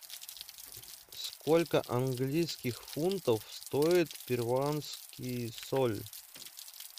сколько английских фунтов стоит перуанский соль